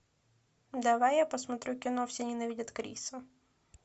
давай я посмотрю кино все ненавидят криса